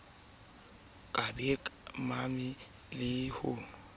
ka ba mabe le ho